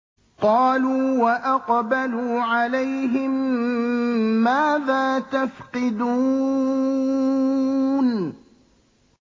قَالُوا وَأَقْبَلُوا عَلَيْهِم مَّاذَا تَفْقِدُونَ